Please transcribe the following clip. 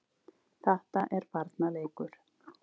Þetta er barnaleikur.